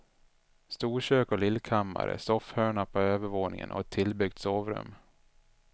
Storkök och lillkammare, soffhörna på övervåningen och ett tillbyggt sovrum.